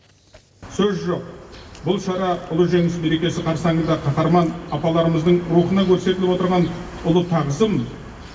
сөз жоқ бұл шара ұлы жеңіс мерекесі қарсаңында қаһарман апаларымыздың рухына көрсетіліп отырған ұлы тағзым